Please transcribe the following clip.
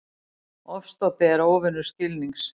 Ofstopi er óvinur skilnings.